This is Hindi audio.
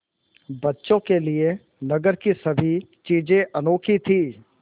बच्चों के लिए नगर की सभी चीज़ें अनोखी थीं